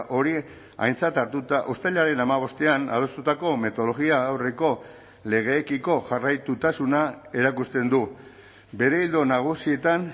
hori aintzat hartuta uztailaren hamabostean adostutako metodologia aurreko legeekiko jarraitutasuna erakusten du bere ildo nagusietan